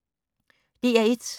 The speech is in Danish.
DR1